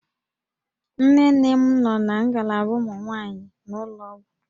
Nne nne m nọ na ngalaba ụmụ nwaanyị n'ụlọ ọgwụ